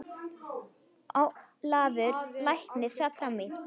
Ólafur læknir sat fram í.